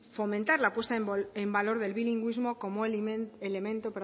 fomentar la puesta en valor del bilingüismo como elemento